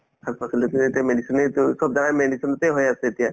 শাক-পাচলিতো এতিয়া medicine য়েতো চব জাগাই medicine তে হৈ আছে এতিয়া